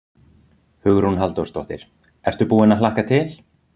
Hugrún Halldórsdóttir: Ertu búinn að hlakka til?